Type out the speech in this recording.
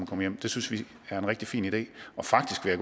kommer hjem synes vi er en rigtig fin idé og faktisk vil